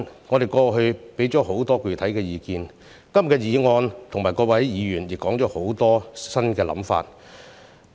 我們過去提出很多具體的意見，今天的議案和各位議員也提出很多新的想法。